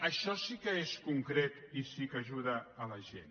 això sí que és concret i sí que ajuda la gent